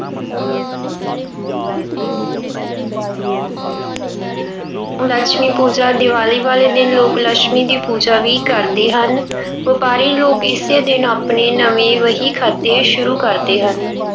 ਲਛਮੀ ਪੂਜਾ- ਦੀਵਾਲੀ ਵਾਲੇ ਦਿਨ ਲੋਕ ਲਛਮੀ ਦੀ ਪੂਜਾ ਵੀ ਕਰਦੇ ਹਨ। ਵਪਾਰੀ ਲੋਕ ਇਸੇ ਦਿਨ ਆਪਣੇ ਨਵੇਂ ਵਹੀਖਾਤੇ ਸ਼ੁਰੂ ਕਰਦੇ ਹਨ।